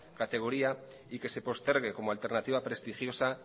categoría y que se postergue como alternativa prestigiosa